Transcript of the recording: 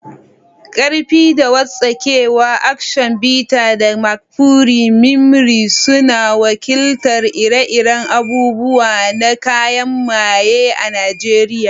Ƙarfi da wartsakewa, Aktion Bita da Mkpuru Mmiri, suna wakiltar ire-iren abubuwan na kayan maaye a Najeriya.